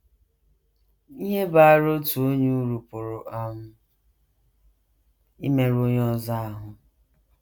Ihe baara otu onye uru pụrụ um imerụ onye ọzọ ahụ́.